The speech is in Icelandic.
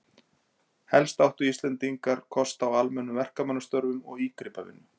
Helst áttu Íslendingar kost á almennum verkamannastörfum og ígripavinnu.